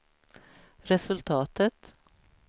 resultatet